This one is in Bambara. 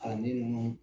Kalanden ninnu